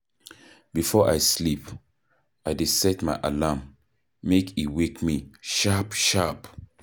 Before I sleep, I dey set my alarm, make e wake me sharp-sharp